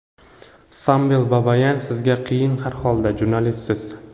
Samvel Babayan: Sizga qiyin har holda, jurnalistsiz.